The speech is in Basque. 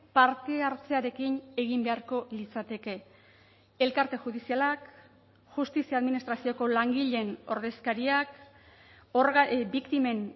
parte hartzearekin egin beharko litzateke elkarte judizialak justizia administrazioko langileen ordezkariak biktimen